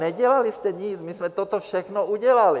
Nedělali jste nic, my jsme toto všechno udělali.